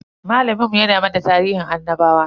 Malamin mu ya na mana tarihin annabawa.